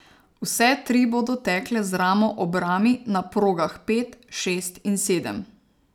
Vse tri bodo tekle z ramo ob rami na progah pet, šest in sedem.